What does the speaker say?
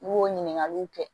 I b'o ɲininkaliw kɛ